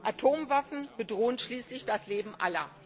Atomwaffen bedrohen schließlich das Leben aller.